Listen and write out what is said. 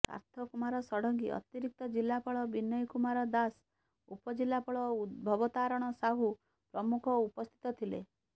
ସାର୍ଥକ କୁମାର ଷଡ଼ଙ୍ଗୀ ଅତିରିକ୍ତ ଜିଲାପାଳ ବିନୟ କୁମାର ଦାଶ ଉପଜିଲାପାଳ ଭବତାରଣ ସାହୁ ପ୍ରମୁଖ ଉପସ୍ଥିତ ଥିଲେ